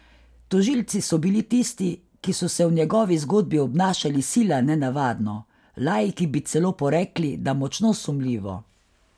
Tožilci so bili tisti, ki so se v njegovi zgodbi obnašali sila nenavadno, laiki bi celo porekli, da močno sumljivo.